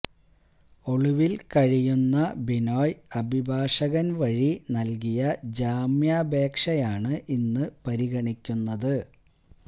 ഒളിവില് കഴിയുന്ന ബിനോയ് അഭിഭാഷകന് വഴി നല്കിയ ജാമ്യാപേക്ഷയാണ് ഇന്ന് പരിഗണിക്കുന്നത്